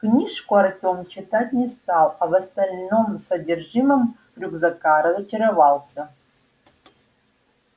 книжку артём читать не стал а в остальном содержимом рюкзака разочаровался